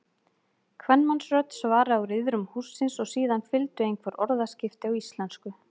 Kvenmannsrödd svaraði úr iðrum hússins og síðan fylgdu einhver orðaskipti á íslensku.